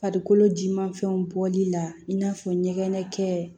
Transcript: Farikolo jimafɛnw bɔli la i n'a fɔ ɲɛgɛn kɛ